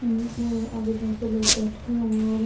आगे जाके लोग बैठ हुए हैं और--